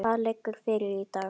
Hvað liggur fyrir í dag?